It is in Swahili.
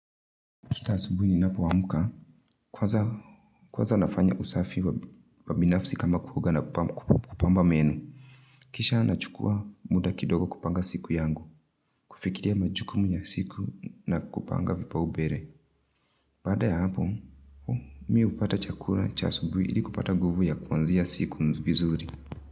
Kila asubui ninapo amka, kwaza nafanya usafi wa binafsi kama kuoga na kupamba meno. Kisha nachukua muda kidogo kupanga siku yangu, kufikiria majukumu ya siku na kupanga vipaubere. Baada ya hapo, mi hupata chakula cha asubui ili kupata nguvu ya kuanzia siku vizuri.